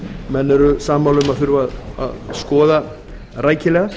menn eru sammála um að þurfi að skoða rækilega